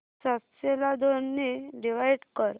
सातशे ला दोन ने डिवाइड कर